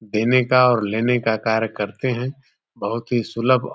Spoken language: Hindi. देने का और लेने का कार्य करते हैं। बहुत ही सुलभ--